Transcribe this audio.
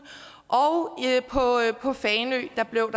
og på fanø blev